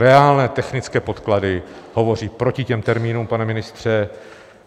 Reálné technické podklady hovoří proti těm termínům, pane ministře.